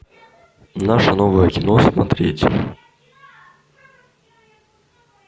наше новое кино смотреть